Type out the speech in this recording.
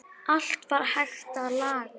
Allt var hægt að laga.